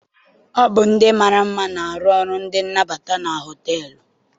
Ọ bụ ndị mara mma na-arụ ọrụ ndị nnabata na họteelụ.